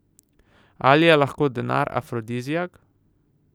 Ali je lahko denar afrodiziak?